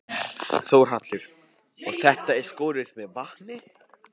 Þórhallur: Og þetta er skorið með vatni?